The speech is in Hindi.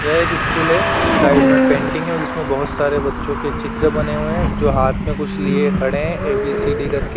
यह एक स्कूल है साइड में पेंटिंग है जिसमें बोहोत सारे बच्चों के चित्र बने हुए हैं जो हाथ में कुछ लिए खड़े है ए बी सी डी कर के।